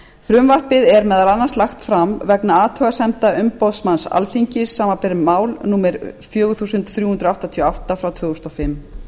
frumvarpið er meðal annars lagt fram vegna athugasemda umboðsmanns alþingis samanber mál númer fjögur þúsund þrjú hundruð áttatíu og átta tvö þúsund og fimm